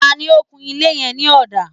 Ta ni ó kun ilé yẹn ní ọ̀dà?